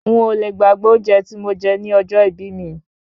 Ń ò le gbàgbé oúnjẹ tí mo jẹ ní ọjọ́ ìbí mi.